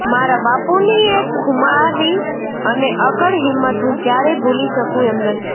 મારા બાપુની એ ખુમારી અને અકળ હિંમત હું ક્યારેય ભૂલી શકું એમ નથી